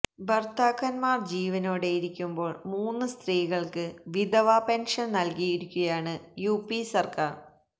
ഭർത്താക്കന്മാർ ജീവനോടെയിരിക്കുമ്പോൾ മൂന്ന് സ്ത്രീകൾക്ക് വിധവ പെൻഷൻ നൽകിയിരിക്കുകയാണ് യുപി സർക്കാർ